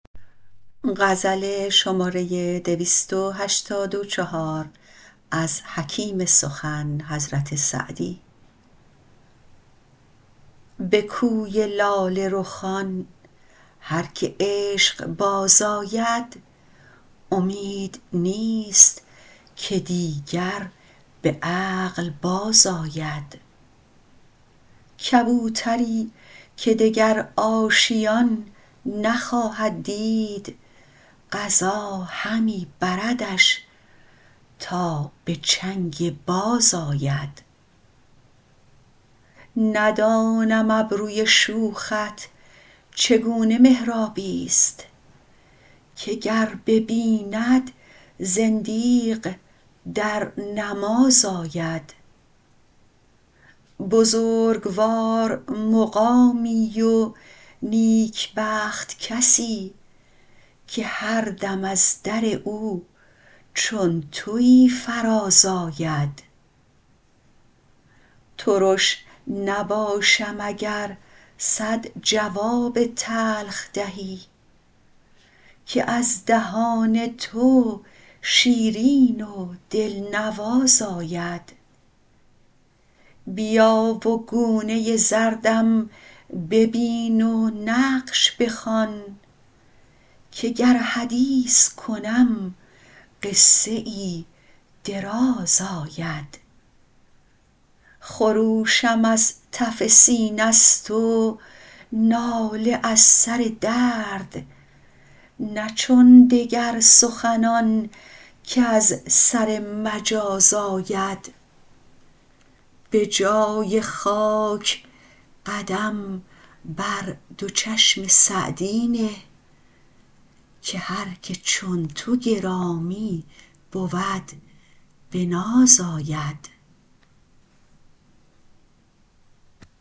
به کوی لاله رخان هر که عشق باز آید امید نیست که دیگر به عقل بازآید کبوتری که دگر آشیان نخواهد دید قضا همی بردش تا به چنگ باز آید ندانم ابروی شوخت چگونه محرابی ست که گر ببیند زندیق در نماز آید بزرگوار مقامی و نیکبخت کسی که هر دم از در او چون تویی فراز آید ترش نباشم اگر صد جواب تلخ دهی که از دهان تو شیرین و دلنواز آید بیا و گونه زردم ببین و نقش بخوان که گر حدیث کنم قصه ای دراز آید خروشم از تف سینه ست و ناله از سر درد نه چون دگر سخنان کز سر مجاز آید به جای خاک قدم بر دو چشم سعدی نه که هر که چون تو گرامی بود به ناز آید